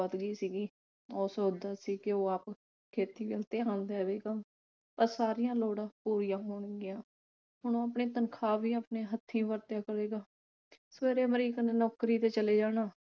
ਵੱਧ ਗਈ ਸੀਗੀ। ਉਹ ਸੋਚਦਾ ਸੀ ਕਿ ਉਹ ਆਪ ਖੇਤੀ ਵੱਲ ਧਿਆਨ ਦੇਵੇਗਾ ਤਾਂ ਸਾਰੀਆਂ ਲੋੜਾਂ ਪੂਰੀਆਂ ਹੋਣਗੀਆਂ। ਹੁਣ ਉਹ ਆਪਣੀ ਤਨਖਾਹ ਵੀ ਆਪਣੇ ਹੱਥੀ ਵਰਤਿਆ ਕਰੇਗਾ। ਫਿਰ ਅਮਰੀਕ ਨੇ ਨੌਕਰੀ ਤੇ ਚਲੇ ਜਾਣਾ